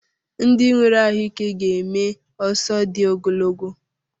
Ndị nwere ahụike ga-eme ọsọ dị ogologo